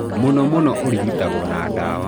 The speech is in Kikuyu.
Mũno mũno ũrigitagwo na dawa.